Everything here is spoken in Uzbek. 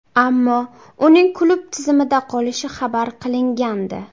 Ammo uning klub tizimida qolishi xabar qilingandi.